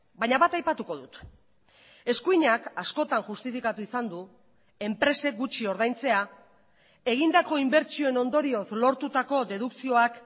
baina bat aipatuko dut eskuinak askotan justifikatu izan du enpresek gutxi ordaintzea egindako inbertsioen ondorioz lortutako dedukzioak